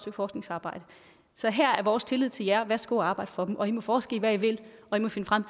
forskningsarbejde så her er vores tillid til jer værsgo at arbejde for dem og i må forske i hvad i vil og i må finde frem